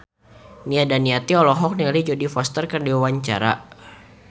Nia Daniati olohok ningali Jodie Foster keur diwawancara